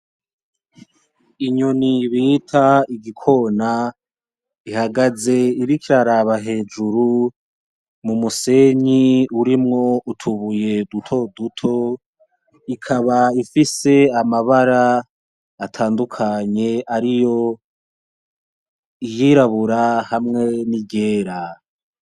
Inyoni bita igikona ihagaze iriko iraraba hejuru mu musenyi urimwo utubuye duto duto, ikaba ifise amabara atandukanye ari yo iyirabura hamwe n'iryera.